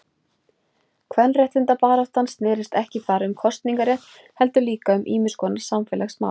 Kvenréttindabaráttan snérist ekki bara um kosningarétt heldur líka um ýmiskonar samfélagsmál.